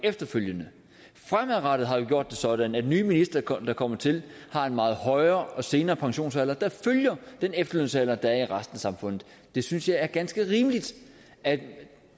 efterfølgende fremadrettet har vi gjort det sådan at nye ministre der kommer til har en meget højere og senere pensionsalder der følger den efterlønsalder der er i resten af samfundet jeg synes det er ganske rimeligt at